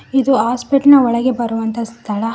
ಇದು ಹಾಸ್ಪಿಟಲ್ ನ ಒಳಗೆ ಬರುವಂತಹ ಸ್ಥಳ.